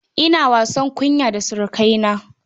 Ina wasa kunyar surukaina.